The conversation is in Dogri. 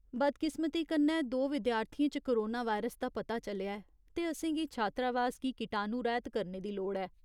बदकिस्मती कन्नै, दो विद्यार्थीयें च कोरोना वायरस दा पता चलेआ ऐ, ते असेंगी छात्रावास गी कीटाणुरैह्त करने दी लोड़ ऐ।